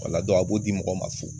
Ola dɔn a b'o di mɔgɔw ma fu